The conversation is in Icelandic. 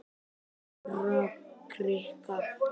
Stórakrika